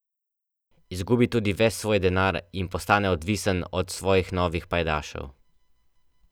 Izgubi tudi ves svoj denar in postane odvisen od svojih novih pajdašev.